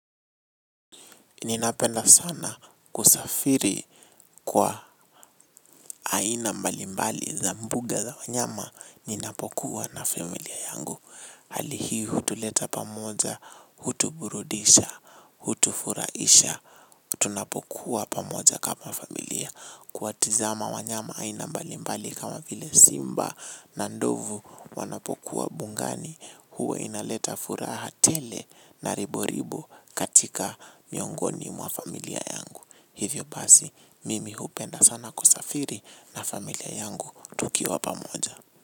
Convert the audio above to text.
Ninapenda sana kusafiri kwa aina mbali mbali za mbuga za wanyama ninapokuwa na familia yangu. Hali hii hutuleta pamoja, hutuburudisha, hutufurahisha, tunapokuwa pamoja kama familia. Kuwatazama wanyama aina mbalimbali kama vile simba na ndovu wanapokuwa bugani huwa inaleta furaha tele na ribo ribo katika miongoni mwa familia yangu. Hivyo basi mimi hupenda sana kusafiri na familia yangu tukiwa pamoja.